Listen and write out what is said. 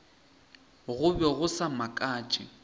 go be go sa makatše